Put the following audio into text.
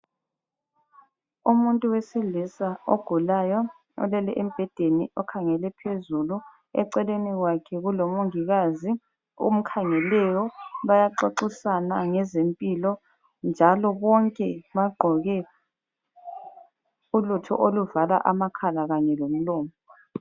Umuntu wesilisa ogulayo olele embhedeni okhangele phezulu eceleni kwakhe kulomongikazi omkhangeleyo bayaxoxisana ngezempilo njalo bonke bagqoke ulutho oluvala amakhala kanye lomlomo.